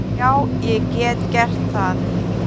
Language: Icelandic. Já, ég get gert það.